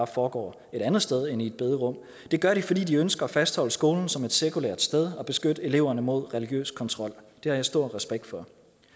foregår et andet sted end i et bederum det gør de fordi de ønsker at fastholde skolen som et sekulært sted og beskytte eleverne mod religiøs kontrol det har jeg stor respekt for